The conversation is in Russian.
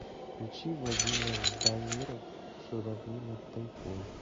включи владимир ждамиров журавли над тайгой